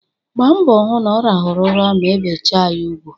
Gbaa mbọ hụ na ọ rahụru ụra ma ebechaa ya ugwu